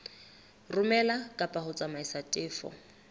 romela kapa ho tsamaisa tefo